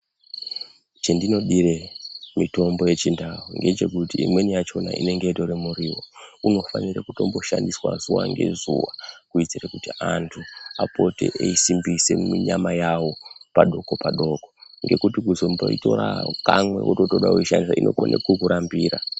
Chendinodire mitombo yechindau ngechekuti imweni yachona inenge itori muriwo unofanire kutomboshandiswe zuwa ngezuwakuitire kuti antu apote eisimbise mwi nyama yawo padoko padoko ngekuti kuzomboitora kamwe wodekuishandisa inokone kukurambira.